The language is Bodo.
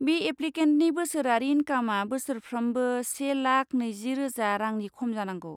बे एप्लिकेन्टनि बोसोरारि इंकामआ बोसोरफ्रोमबो से लाखा नैजि रोजा रांनि खम जानांगौ।